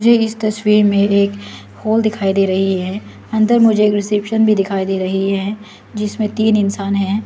मुझ इस तस्वीर में एक हॉल दिखाई दे रही है अंदर मुझे एक रिसेप्शन भी दिखाई दे रही है जिसमें तीन इंसान हैं।